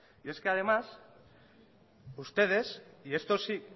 y es que además ustedes y esto sí